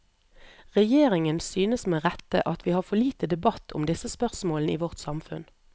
Regjeringen synes med rette at vi har for lite debatt om disse spørsmålene i vårt samfunn.